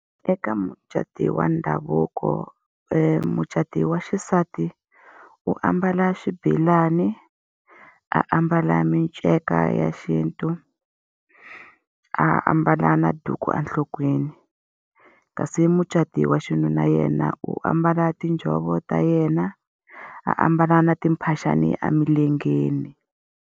Eka mucato wa ndhavuko mucati wa xisati u ambala xibelani, a ambala minceka ya xintu, a ambala na duku enhlokweni. Kasi mucati wa xinuna yena u ambala tinjhovo ta yena, a ambala na timphaxani emilengeni.